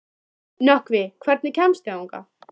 Nökkvi, hvernig kemst ég þangað?